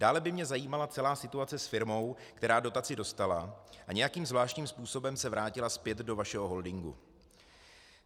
Dále by mě zajímala celá situace s firmou, která dotaci dostala a nějakým zvláštním způsobem se vrátila zpět do vašeho holdingu.